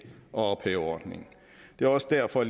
at ophæve ordningen det er også derfor at